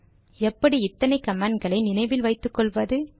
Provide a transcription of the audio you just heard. அது சரி எப்படி இத்தனை கமாண்ட் களை நினைவில் வைத்துக்கொள்வது